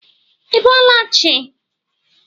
Í bọọla chị?